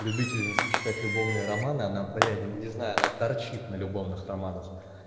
любительница читать любовные романы она бля не знаю она торчит на любовных романах